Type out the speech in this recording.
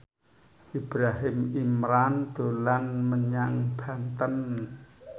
Ibrahim Imran dolan menyang Banten